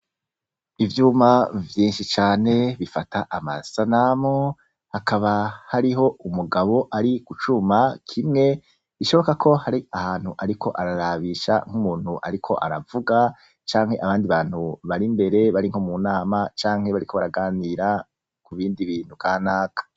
ivyuma vyinshi cane bifata amasanamu hakaba hariho umugabo ari icuma kimwe ishoboka ko hari ahantu ariko ararabisha nk'umuntu ariko aravuga canke abandi bantu bari mbere bari nko mu nama canke bariko baraganira ku bindi bintu ka naka